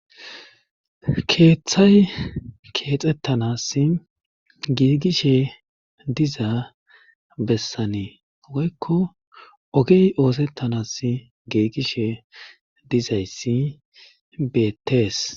keeththay keexxettanas giigishe dizaa bessanii woykko ogey oosettanas giigishe dizayssi beettees